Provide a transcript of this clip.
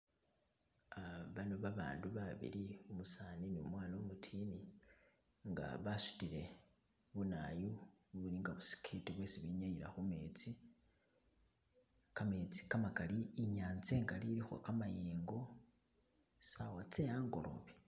Uh bano babandu babili umusani ne umwana umutiini nga basutile bunawoyu ubuli nga bu skit bwesi benyayila khu metsi, kametsi kamakali inyanza ingali ilikho kamayengo saawa tse angoloobe